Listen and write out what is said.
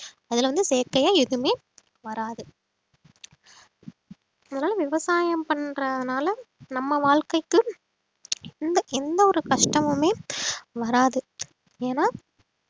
அதுல வந்து செயற்கையா எதுவுமே வராது அதனால விவசாயம் பண்றதுனால நம்ம வாழ்க்கைக்கு இந்த எந்த ஒரு கஷ்டமுமே வராது ஏன்னா